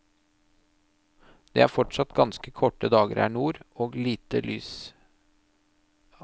Det er fortsatt ganske korte dager her nord, og lite dagslys.